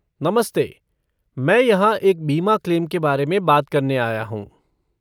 नमस्ते, मैं यहाँ एक बीमा क्लेम के बारे में बात करने आया हूँ।